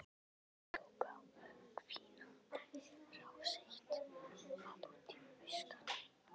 Þau tóku á hvínandi rás eitt- hvað út í buskann.